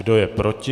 Kdo je proti?